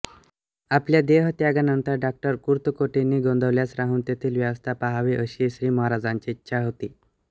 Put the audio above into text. आपल्या देहत्यागानंतर डॉ कुर्तकोटींनी गोंदवल्यास राहून तेथील व्यवस्था पहावी अशी श्रीमहाराजांची इच्छा होती